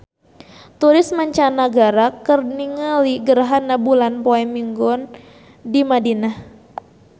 Turis mancanagara keur ningali gerhana bulan poe Minggon di Madinah